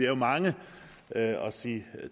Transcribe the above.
jo mange at sige